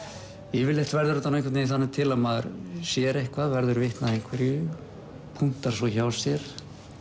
yfirleitt verður þetta einhvern veginn þannig til að maður sér eitthvað verður vitni að einhverju punktar svo hjá sér